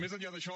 més enllà d’això